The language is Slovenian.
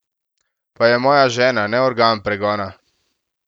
Pa je moja žena, ne organ pregona!